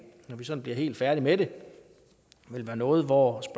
når vi sådan bliver helt færdige med det vil være noget hvortil